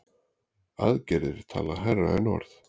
Aðgerðir tala hærra en orð.